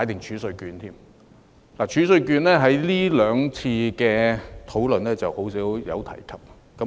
儲稅券在這兩次討論中很少提及。